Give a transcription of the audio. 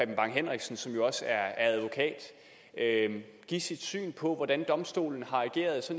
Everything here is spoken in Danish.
bang henriksen som jo også er advokat give sit syn på hvordan domstolen har ageret